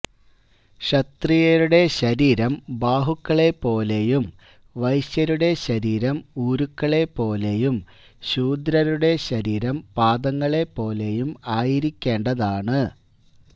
ക്ഷത്രിയരുടെ ശരീരം ബാഹുക്കളെപ്പോലെയും വൈശ്യരുടെ ശരീരം ഊരുക്കളെപ്പോലെയും ശൂദ്രരുടെ ശരീരം പാദങ്ങളെപ്പോലെയും ആയിരിക്കേണ്ടതാണ്